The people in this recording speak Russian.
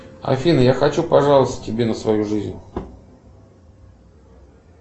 афина я хочу пожаловаться тебе на свою жизнь